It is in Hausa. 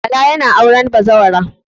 Bala yana auren bazawara.